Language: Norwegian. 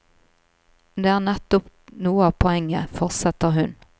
Det er nettopp noe av poenget, fortsetter hun.